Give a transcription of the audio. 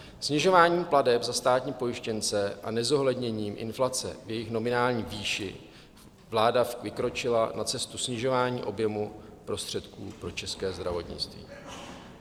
Snižováním plateb za státní pojištěnce a nezohledněním inflace v jejich nominální výši vláda vykročila na cestu snižování objemu prostředků pro české zdravotnictví.